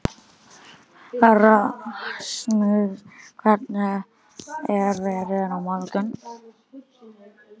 Rasmus, hvernig er veðrið á morgun?